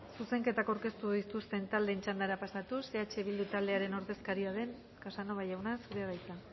zuzenketak aurkeztu dituzten taldeen txandara pasatuz eh bildu taldearen ordezkaria den casanova jauna zurea da hitza